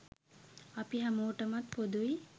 අපි හැමෝටමත් පොදුයි.